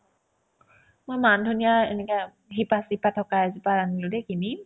মই মান ধনিয়া এনেকা শিপা-চিপা থকা এজোপা আনিলো দে কিনি